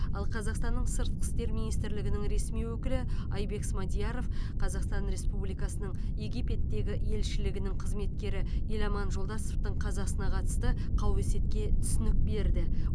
ал қазақстанның сыртқы істер министрлігінің ресми өкілі айбек смадияров қазақстан республикасының египеттегі елшілігінің қызметкері еламан жолдасовтың қазасына қатысты қауесетке түсінік берді